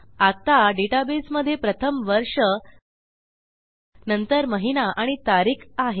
आत्ता डेटाबेसमधे प्रथम वर्ष नंतर महिना आणि तारीख आहे